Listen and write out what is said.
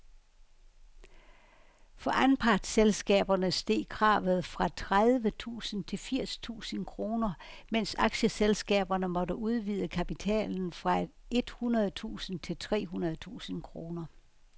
For anpartsselskaberne steg kravet fra tredive tusind til firs tusind kroner, mens aktieselskaberne måtte udvide kapitalen fra et hundrede tusind til tre hundrede tusind kroner.